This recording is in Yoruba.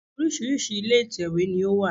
Oríṣìíríṣìí ilé ìtèwé ní ó wà